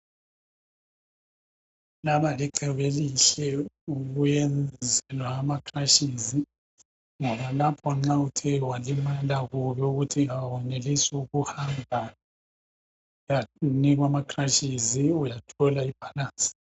Laba licebo elihle ukuyenzelwa ama crashes ngoba lapha nxa uthe walimala kubi ukuthi awenelisi ukuhamba uyanikwa ama crashes uyathola ibalance.